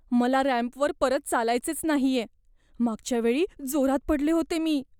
मला रॅम्पवर परत चालायचेच नाहीये. मागच्या वेळी जोरात पडले होते मी.